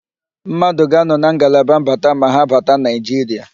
Mmadụ ga-anọ na ngalaba mbata ma ha bata Naịjiria.